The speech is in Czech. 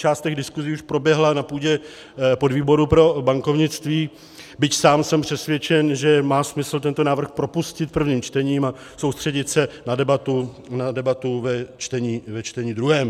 Část těch diskuzí už proběhla na půdě podvýboru pro bankovnictví, byť sám jsem přesvědčen, že má smysl tento návrh propustit prvním čtením a soustředit se na debatu ve čtení druhém.